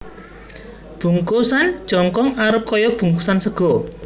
Bungkusan jongkong arep kaya bungkusan sega